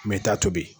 Mɛ i t'a tobi